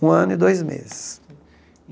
Um ano e dois meses.